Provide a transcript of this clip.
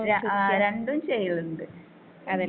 ആ രണ്ടും ചെയ്യിണ്ട് ഉം.